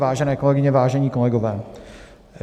Vážené kolegyně, vážení kolegové.